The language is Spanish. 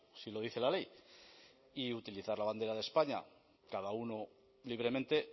si lo dice la ley y utilizar la bandera de españa cada uno libremente